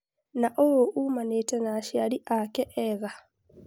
Na ũũ umanĩte na aciari ake ega.